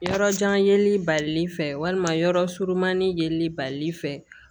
Yɔrɔ jan yeli balili fɛ walima yɔrɔ surumani yeli bali fɛ